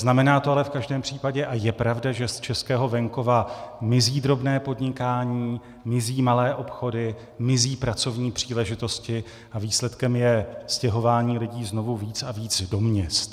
Znamená to ale v každém případě a je pravda, že z českého venkova mizí drobné podnikání, mizí malé obchody, mizí pracovní příležitosti a výsledkem je stěhování lidí znovu víc a víc do měst.